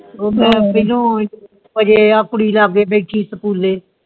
ਆ ਕੁੜੀ ਲੱਗੇ ਬੈਠੀ ਸਕੂਲੇ